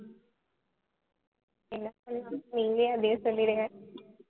என்ன பண்ணலாம்னு நீங்களே அப்படியே சொல்லிடுங்க